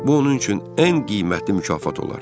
Bu onun üçün ən qiymətli mükafat olar.